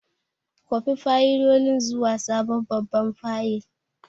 Kwafi fayilolin zuwa sabon babban fayil!